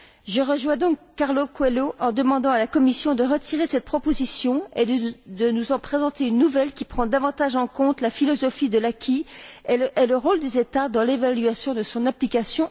Je rejoins donc Carlos Coelho en demandant à la Commission de retirer cette proposition et de nous en présenter une nouvelle qui prenne davantage en compte la philosophie de l'acquis et le rôle des États dans l'évaluation de son application.